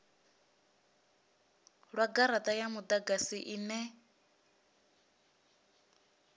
lwa garata ya mudagasi ine